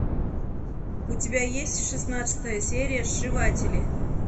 у тебя есть шестнадцатая серия сшиватели